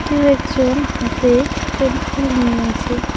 কেউ একজন হাতে কলি ফুল নিয়ে আছে।